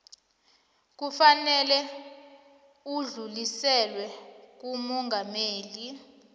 kufanele udluliselwe kumongameli